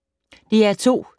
DR2